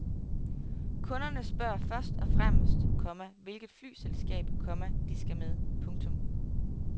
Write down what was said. Kunderne spørger først og fremmest, komma hvilket flyselskab, komma de skal med. punktum